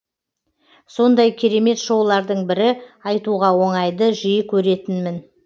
сондай керемет шоулардың бірі айтуға оңай ды жиі көретінмін